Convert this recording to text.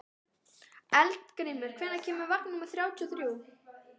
Eldgrímur, hvenær kemur vagn númer þrjátíu og þrjú?